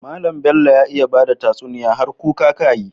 Mallan Bello ya iya bada tatsuniya har kuka kayi yi